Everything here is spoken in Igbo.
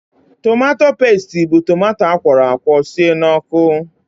Tomato pestị bụ tomato akwọrọ akwọ sie n'ọkụ.